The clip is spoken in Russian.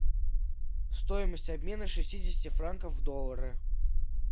стоимость обмена шестидесяти франков в доллары